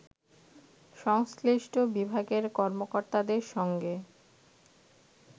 সংশ্লিষ্ট বিভাগের কর্মকর্তাদের সঙ্গে